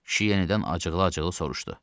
Kişi yenidən acıqlı-acıqlı soruşdu.